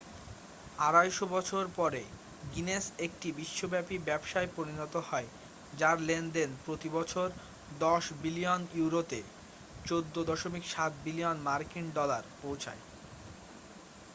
250 বছর পরে গিনেস একটি বিশ্বব্যাপী ব্যবসায় পরিণত হয় যার লেনদেন প্রতি বছর 10 বিলিয়ন ইউরোতে 14.7 বিলিয়ন মার্কিন ডলার পৌঁছায়।